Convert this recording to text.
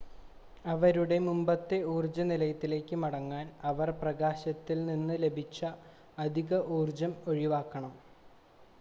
അവരുടെ മുമ്പത്തെ ഊർജ്ജ നിലയിലേക്ക് മടങ്ങാൻ അവർ പ്രകാശത്തിൽ നിന്ന് ലഭിച്ച അധിക ഊർജ്ജം ഒഴിവാക്കണം